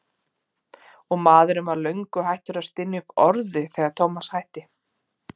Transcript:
Og maðurinn var löngu hættur að stynja upp orði þegar Thomas hætti.